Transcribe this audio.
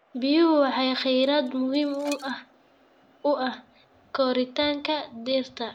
Biyuhu waa kheyraad muhiim u ah koritaanka dhirta.